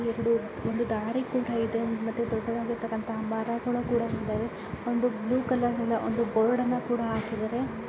ಎರಡು ಒಂದು ದಾರಿ ಕೂಡ ಇದೆ ಮತ್ತೆ ದೊಡ್ಡವಾದಾಗಿರತ್ತಕ್ಕಂತ ಮರಗಳೂ ನ ಕೂಡ ಇದಾವೆ ಒಂದು ಬ್ಲೂ ಕಲರನಿಂದ ಬರ್ಡ್ನ ಕೂಡ ಆಕಿದರೆ.